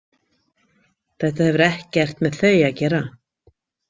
Þetta hefur ekkert með þau að gera.